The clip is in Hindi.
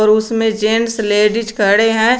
उसमें जेंट्स लेडीज़ खड़े हैं।